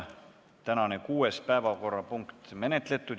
Tänane kuues päevakorrapunkt on menetletud.